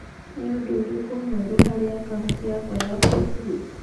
nĩ ũndũ ũrĩkũ mwerũ harĩ akaunti yakwa ya facebook